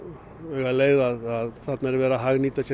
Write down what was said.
augaleið að þarna er verið að hagnýta sér